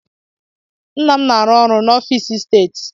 Nna m na-arụ ọrụ n'ọfịs steeti.